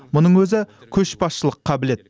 мұның өзі көшбасшылық қабілет